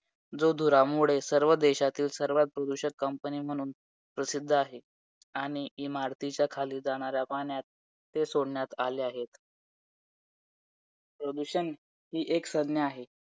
जो धुरामुळे सर्व देशातील सर्वात प्रदूषित company म्हणून प्रसिद्ध आहे, आणि इमारतीच्या खाली जाणाऱ्या पाण्यात ते सोडण्यात आले आहे. प्रदूषण हि एक संज्ञा आहे.